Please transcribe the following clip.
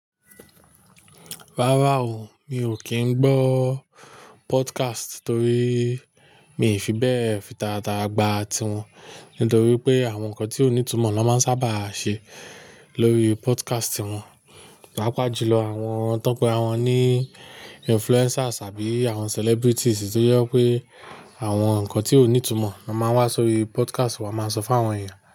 Rárá o, mi ò kín gbọ́ podcast torí mi ò fi bẹ́ẹ̀ fi taratara gba ti wọn. Nítorí pé àwọn nǹkan tí ò ní ìtumọ̀ ni wọ́n sábà máa ń ṣe lórí podcast wọn. Páàpajù lọ àwọn tọ́ pe àrawọn ní influencers àbí àwọn celebrities tó jẹ wipé àwọn nǹkan tí ò ní ìtumọ̀ ni wọ́n máa ń wá sórí podcast wọ́n máa ń sọ fún àwọn èeyàn.